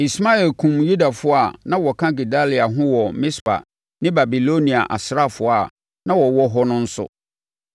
Ismael kumm Yudafoɔ a na wɔka Gedalia ho wɔ Mispa ne Babilonia asraafoɔ a na wɔwɔ hɔ no nso.